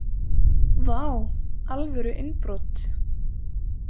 Vá, alvöru innbrot!